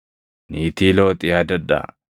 Niitii Looxi yaadadhaa!